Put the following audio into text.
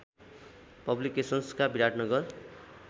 पब्लिकेसन्सका Biratnagar